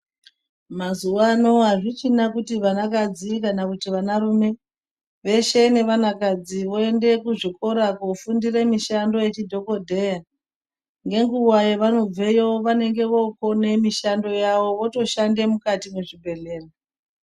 Mazuwano akuchina kuti vanakadzi kana kuti vanarume, veshe nevanakadzi voende kuzvikora kofundire mishando yezvidhokodheya, ngenguwa yevanobveyo, vanenge vookone mishando yavo votoshande mukati mwezvibhedhleya.